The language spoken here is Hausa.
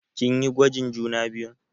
Kin yi gwajin juna biyun?